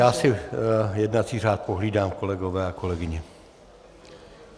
Já si jednací řád pohlídám, kolegové a kolegyně.